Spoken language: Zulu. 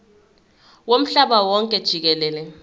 womhlaba wonke jikelele